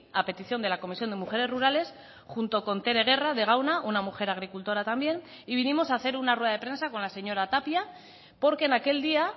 a petición de la comisión de mujeres rurales junto con tere guerra de gauna una mujer agricultora también y vinimos a hacer una rueda de prensa con la señora tapia porque en aquel día